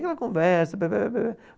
Aquela conversa, blá blá blá blá.